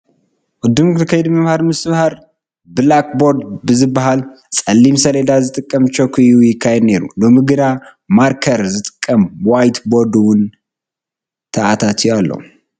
ቅድም ክብል ከይዲ ምምሃር ምስትምሃር ብላክ ቦርድ ንዝበሃል ፀሊም ሰሌዳ ብዝጥቀም ቾክ እዩ ይካየድ ነይሩ፡፡ ሎሚ ግን ማርከር ዝጥቀም ዋይት ቦርድ እውን ተኣታትዩ ኣሎ፡፡